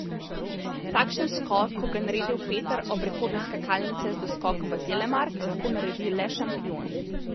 Takšen skok, kot ga je naredil Peter ob rekordu skakalnice z doskokom v telemark, lahko naredi le šampion.